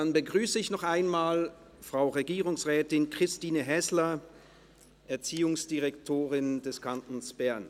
Dann begrüsse ich noch einmal Frau Regierungsrätin Christine Häsler, Erziehungsdirektorin des Kantons Bern.